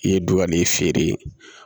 I ye dɔ ka nin feere